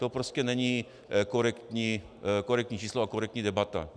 To prostě není korektní číslo a korektní debata.